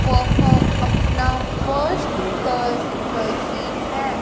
वह अपना वर्क कर रही है।